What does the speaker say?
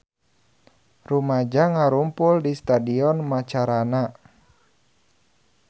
Rumaja ngarumpul di Stadion Macarana